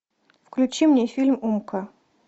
включи мне фильм умка